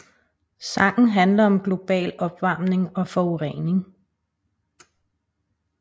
Sangen handler om global opvarmning og forurening